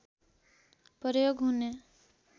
प्रयोग हुने